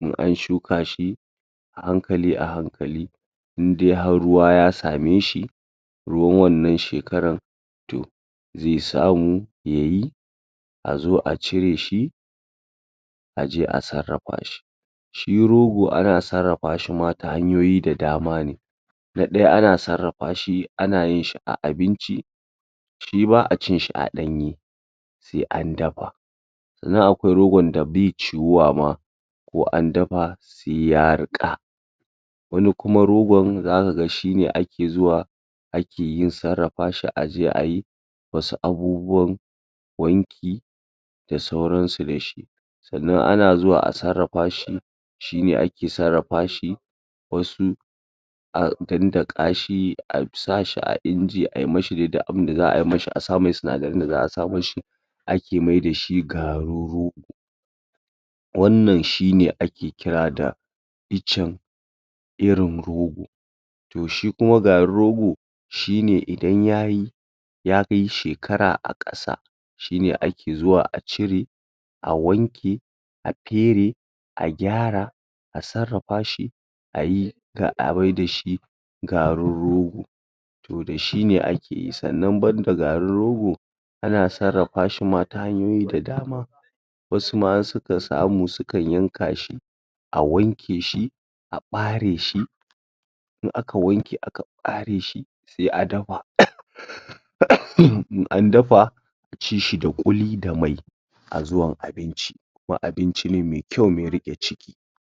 in an shuka shi a hankali a hankali in dai har ruwa ya same shi ruwan wannan shekaran to ze samu ya yi a zo a cire shi a je a sarrapa shi shi rogo ana sarrapa shi ma ta hanyoyi da dama ne na ɗaya ana sarrapa shi ana yin shi a abinci shi ba a cin shi a ɗanye sai an dapa sannan akwai rogon da be ciwuwa ma ko an dapa se ya riƙa wani kuma rogon zaka ga shine ake zuwa ake yin sarrapa shi a je a yi wasu abubuwan wanki da sauransu da shi sannan ana zuwa a sarrapa shi shine ake sarrapa shi wasu a dandaƙa shi a sa shi a inji a yi mashi dai duk abunda za a mashi a sai mai sinadaran da za a sa mashi ake maida shi garin rogo wannan shine ake kira da icen irin rogo to shi kuma garin rogo shine idan yayi ya kai shekara a ƙasa shine ake zuwa a cire a wanke a pere a gyara a sarrapa shi a yi ga a maida shi garin rogo to da shi ne ake yi. Sannan banda garin rogo Ana sarrapa shi ma ta hanyoyi da dama wasu ma in suka samu sukan yanka shi a wanke shi a ɓare shi in aka wanke aka ɓare shi se a dapa in an dafa a ci shi da ƙuli da mai a zuwan abinci wa abinci ne me kyau me riƙe ciki.